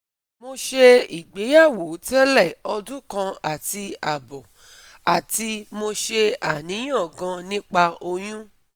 Mo se igbeyamo tele odun kan ati abo ati mo se aniyan gan nipa oyun